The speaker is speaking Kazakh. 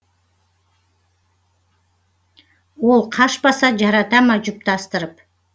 ол қашпаса жарата ма жұптастырып